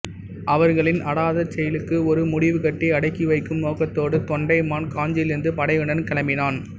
அவர்களின் அடாத செயலுக்கு ஒரு முடிவுகட்டி அடக்கி வைக்கும் நோக்கத்தோடு தொண்டைமான் காஞ்சியிலிருந்து படையுடன் கிளம்பினான்